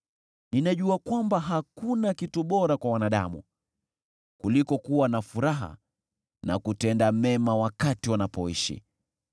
Ninajua kwamba hakuna kitu bora kwa wanadamu kuliko kuwa na furaha na kutenda mema wakati wanapoishi.